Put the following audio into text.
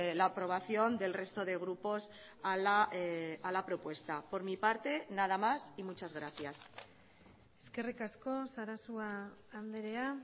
la aprobación del resto de grupos a la propuesta por mi parte nada más y muchas gracias eskerrik asko sarasua andrea